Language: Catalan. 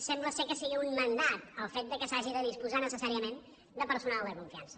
sembla que sigui un mandat el fet que s’hagi de disposar necessàriament de personal de confiança